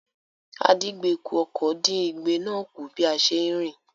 Àdíngbekù-ọkọ̀ dín igbe náà kù bí a ṣe ń rìn.